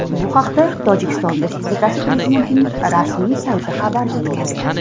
Bu haqda Tojikiston respublikasi prezidentining rasmiy sayti xabar bergan .